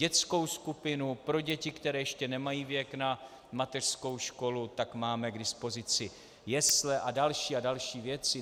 Dětskou skupinu, pro děti, které ještě nemají věk na mateřskou školu, tak máme k dispozici jesle a další a další věci.